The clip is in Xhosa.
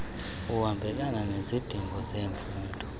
ohambelana nezidingo zemfundo